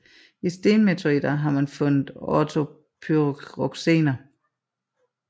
I stenmeteoritter har man fundet ortopyroxener